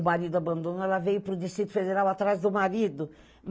O marido abandonou, ela veio para o Distrito Federal atrás do marido.